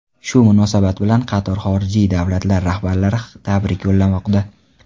Shu munosabat bilan qator xorijiy davlatlar rahbarlari tabrik yo‘llamoqda.